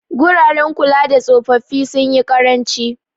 Guraren kulada tsofaffi sunyi ƙaranci.